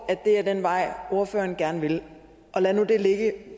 at det er den vej ordføreren gerne vil lad nu det ligge det